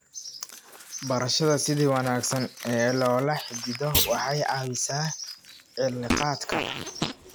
Barashada sida wanaagsan ee loola xidhiidho waxay caawisaa cilaaqaadka.